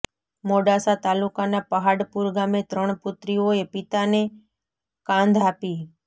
મોડાસા તાલુકાના પહાડપુર ગામે ત્રણ પુત્રીઓએ પિતાને કાંધ આપી